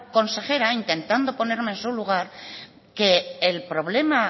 consejera intentando ponerme en su lugar que el problema